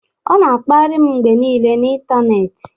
Ọ na-akparị m mgbe niile n'ịntanetị